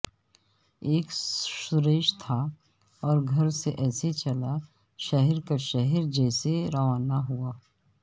ایک شورش تھا اور گھر سے ایسے چلا شہر کا شہر جیسے روانہ ہوا